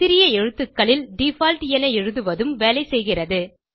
சிறிய எழுத்துகளில் டிஃபால்ட் என எழுதுவதும் வேலை செய்கிறது